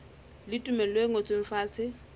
le tumello e ngotsweng fatshe